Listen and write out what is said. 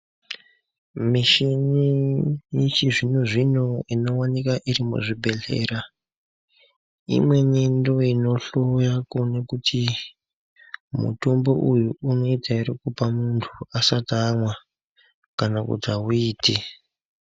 Mishini yechizvino zvino inooneka iri muzvibhedhlera imweni ndiyo inohloya kuona kuti mutombo uyu unoita hr kupa muntu asati amwa kana kuti hauiti.